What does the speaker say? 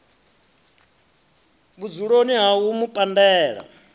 vhudzuloni ha u mu pandela